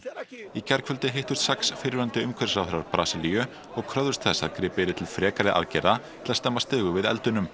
í gærkvöldi hittust sex fyrrverandi umhverfisráðherrar Brasilíu og kröfðust þess að gripið yrði til frekari aðgerða til að stemma stigu við